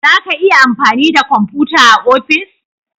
Za ka iya amfani da kwamfuta a ofis?